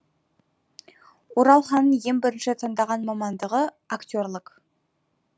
оралханның ең бірінші таңдаған мамандығы актерлік